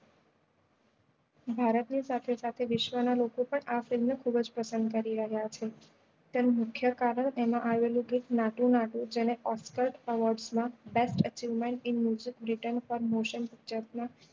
ભારત ની સાથે સાથે વિશ્વ ના લોકો પણ આ film ને ખુબ જ પસંદ કરી રહ્યા છે તેનું મુખ્ય કારણ એમાં આવેલું ગીત નાતુ નાતુ જેને oscar